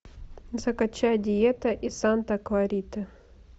закачай диета из санта клариты